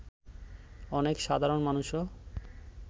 অনেক সাধারণ মানুষও